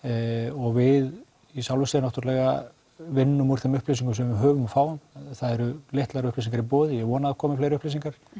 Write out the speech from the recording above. og við í sjálfu sér náttúrulega vinnum úr þeim upplýsingum sem við fáum það eru litlar upplýsingar í boði og ég vona að það komi fleiri upplýsingar